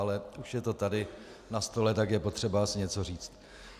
Ale už je to tady na stole, tak je potřeba si něco říct.